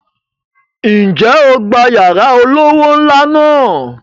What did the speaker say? Ǹjẹ́ o gba yàrá olówó ńlá náà?